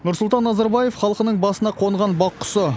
нұрсұлтан назарбаев халқының басына қонған бақ құсы